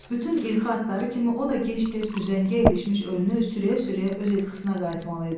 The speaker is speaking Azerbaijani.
Bütün ilxı atları kimi o da gec-tez üzəngiyə ilişmiş ölünü sürüyə-sürüyə öz ilxısına qayıtmalı idi.